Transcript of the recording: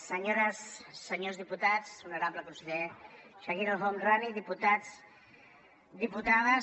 senyores senyors diputats honorable conseller chakir el homrani diputats diputades